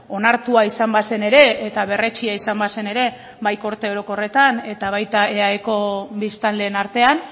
onartua izan bazen ere eta berretsia izan bazen ere bai gorte orokorretan eta baita eaeko biztanleen artean